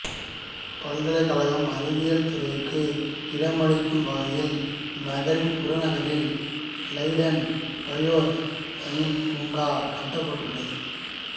பல்கலைக்கழகம் அறிவியல் துறைகளுக்கு இடமளிக்கும் வகையில் நகரின் புறநகரில் லைடன் பயோ சயின்ஸ் பூங்கா கட்டப்படுள்ளது